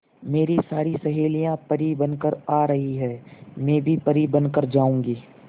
मेरी सारी सहेलियां परी बनकर आ रही है मैं भी परी बन कर जाऊंगी